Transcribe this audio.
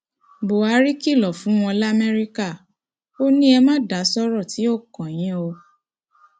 buhari kìlọ fún wọn lamẹríkà ò ní e ma da sọrọ tí ó kàn yín o